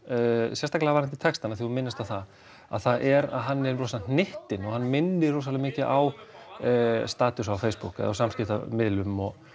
sérstaklega varðandi textann að þú minnist á það það er að hann er rosa hnyttinn og hann minnir rosa mikið á á samskiptamiðlum og